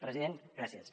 president gràcies